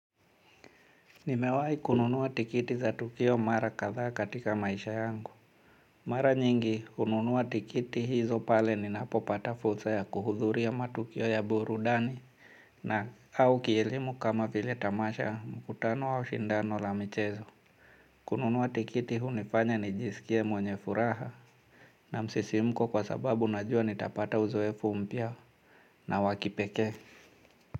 Nimewahi kununua tikiti za tukio mara kadhaa katika maisha yangu. Mara nyingi, hununua tikiti hizo pale ninapopata fursa ya kuhudhuria matukio ya burudani na au kielimu kama vile tamasha mkutano au shindano la mchezo. Kununua tikiti hunifanya nijisikie mwenye furaha na msisimko kwa sababu najua nitapata uzoefu mpya na wakipekee.